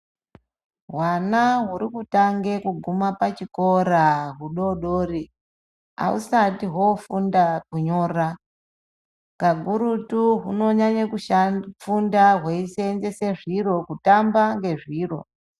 Hwana huri kutange kuguma pachikora hudodori ahusatu hwofunda kunyora. Pakurutu hunonyanya kufunda hweisenzese zviro kutamba nezviro.